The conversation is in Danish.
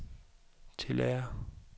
tillader